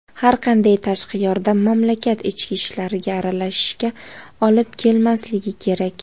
har qanday tashqi yordam mamlakat ichki ishlariga aralashishga olib kelmasligi kerak.